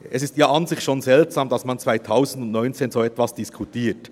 Es ist ja an sich schon seltsam, dass man 2019 so etwas diskutiert.